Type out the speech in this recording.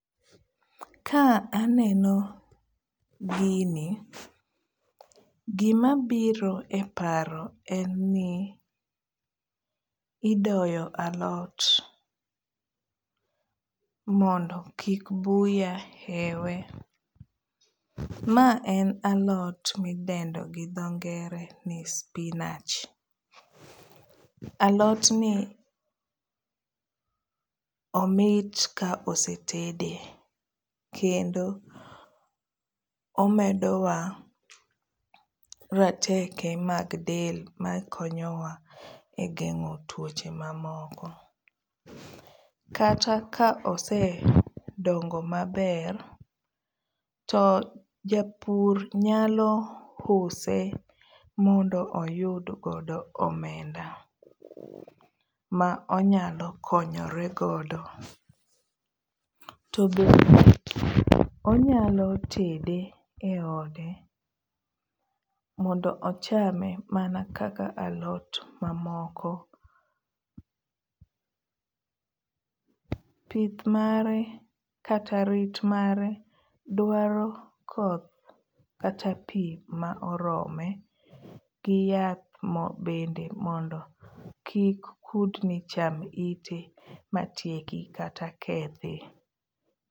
Ka aneno gini, gimabiro e paro en ni idoyo alot mondo kik buya ewe. Ma en alot midendo gi dho ngere ni spinach. Alotni omit ka osetede kendo omedowa rateke mag del makonyowa e geng'o tuoche mamoko. Kata ka osedongo maber to japur nyalo use mondo oyud godo omenda ma onyalo konyore godo. To bende onyalo tede eode mondo ochame mana kaka alot mamoko .Pith mare kata rit mare dwaro koth kata pii ma orome gi yath bende mondo kik kudni cham ite matieki kata kethi.